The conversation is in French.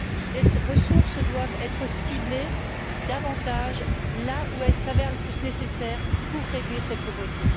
Les ressources doivent être ciblées davantage là où elles s'avèrent le plus nécessaires pour réduire cette pauvreté.